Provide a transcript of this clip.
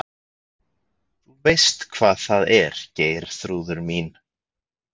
Þú veist hvað það er Geirþrúður mín.